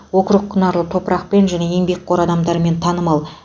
округ құнарлы топырақпен және еңбекқор адамдармен танымал